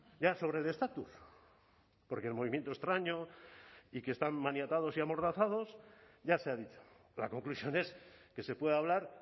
ya sobre el estatus porque el movimiento extraño y que están maniatados y amordazados ya se ha dicho la conclusión es que se puede hablar